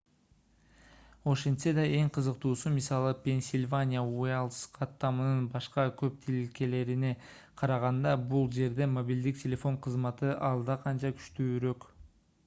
ошентсе да эң кызыктуусу мисалы пенсильвания уайлдс каттамынын башка көп тилкелерине караганда бул жерде мобилдик телефон кызматы алда канча күчтүүрөк